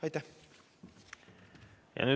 Aitäh!